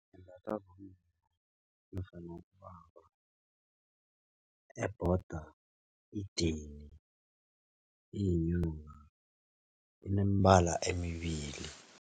Imbathwa bomma nofana bobaba ebhoda idini iyinyoka inemibala emibili.